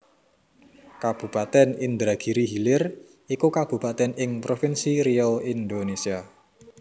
Kabupatèn Indragiri Hilir iku kabupatèn ing provinsi Riau Indonésia